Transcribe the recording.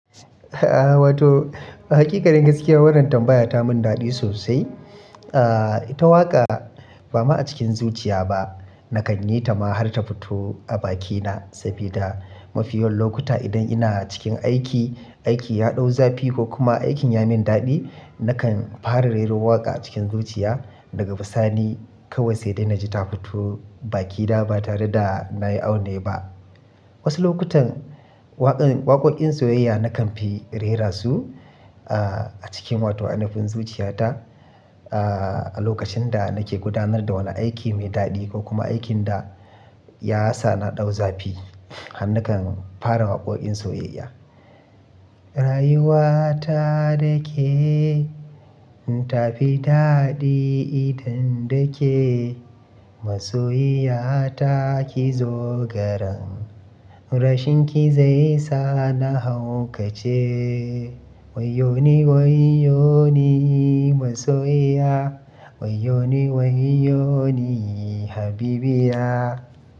Wato a haƙiƙanin gaskiya wannan tambaya ta mun daɗi sosai. Ah, ita waƙa ba ma cikin zuciya ba, na kan yi ta ma har ta fito a bakina sabida mafi yawan lokuta idan ina cikin aiki, aiki ya ɗau zafi ko kuma aikin ya min daɗi, na kan fara rero waƙa a cikin zuciya daga bisani kawai sai dai na ji ta fito baki na ba tare da na yi aune ba. Wasu lokutan waƙan waƙoƙin soyayya na kan fi rera su ah, a cikin wato ainafin zuciyata. Ah, a lokacin da nake gudanar da wani aiki mai daɗi ko kuma aikin da ya sa na ɗau zafi, har na kan fara waƙoƙin soyayya. Rayuwa ta da ke, ta fi daɗi idan da ke. Masoyiya ta ki zo garan, rashinki zai sa na haukace. Wayyo ni wayyo ni masoyiya, wayyo ni wayyo ni habibiya.